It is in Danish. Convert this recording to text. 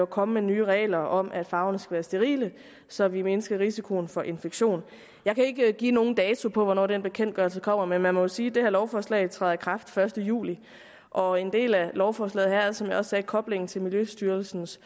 komme med nye regler om at farverne skal være sterile så vi mindsker risikoen for infektion jeg kan ikke give nogen dato på hvornår den bekendtgørelse kommer men man må jo sige at det her lovforslag træder i kraft den første juli og en del af lovforslaget er som jeg også sagde koblet til miljøstyrelsens